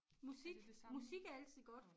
Musik musik er altid godt